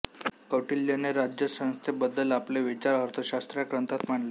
कौटिल्यने राज्यसंस्थे बद्द्ल आपले विचार अर्थशास्त्र या ग्रंथात मांडले